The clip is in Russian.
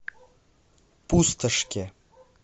пустошке